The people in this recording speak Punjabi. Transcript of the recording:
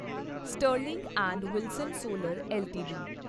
Sterling and Wilson solar LTD